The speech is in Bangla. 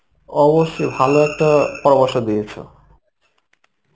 অবশ্যই ভালো একটা পরামর্শ দিয়েছো.